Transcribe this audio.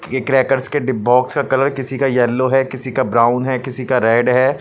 ये क्रैकर्स के dip box का कलर किसी का येलो है किसी का ब्राउन है किसी का रेड है.